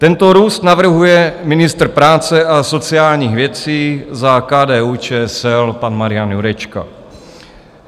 Tento růst navrhuje ministr práce a sociálních věcí za KDU-ČSL pan Marian Jurečka.